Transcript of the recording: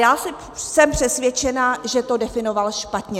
Já jsem přesvědčena, že to definoval špatně.